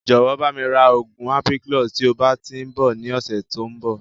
Jọ̀wọ́ bami ra oògùn ampiclox" tí ó bá tíì ń bọ̀ ni ọ̀sẹ̀ tòun bọ̀